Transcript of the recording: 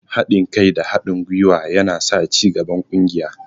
Haɗin gwuiwa da haɗin kai yana sa cigaban ƙungiya.